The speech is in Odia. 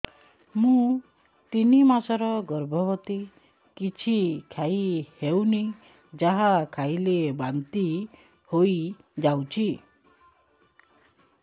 ମୁଁ ତିନି ମାସର ଗର୍ଭବତୀ କିଛି ଖାଇ ହେଉନି ଯାହା ଖାଇଲେ ବାନ୍ତି ହୋଇଯାଉଛି